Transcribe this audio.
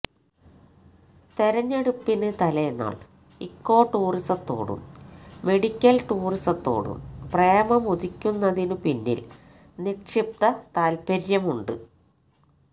തെരഞ്ഞെടുപ്പിന് തലേന്നാള് ഇക്കോ ടൂറിസത്തോടും മെഡിക്കല് ടൂറിസത്തോടും പ്രേമമുദിക്കുന്നതിനുപിന്നില് നിക്ഷിപ്തതാല്പര്യമുണ്ട്